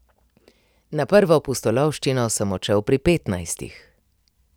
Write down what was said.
Na prvo pustolovščino sem odšel pri petnajstih.